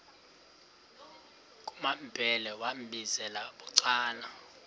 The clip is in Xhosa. kumambhele wambizela bucala